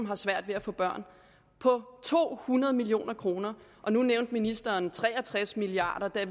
har svært ved at få børn på to hundrede million kroner nu nævnte ministeren tre og tres milliard